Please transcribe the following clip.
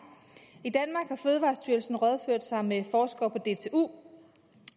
fødevarestyrelsen rådført sig med forskere på dtu